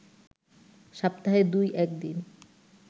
সপ্তাহে দুই-এক দিন